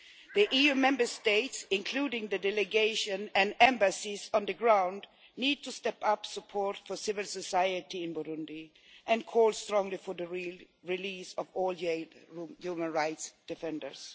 The EU Member States, including the delegations and embassies on the ground, need to step up support for civil society in Burundi and call strongly for the release of all jailed human rights defenders.